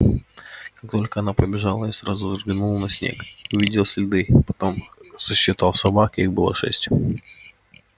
как только она побежала я сразу взглянул на снег и увидел следы потом сосчитал собак их было шесть